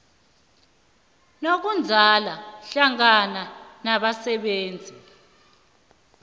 nokuzwana hlangana nabasebenzi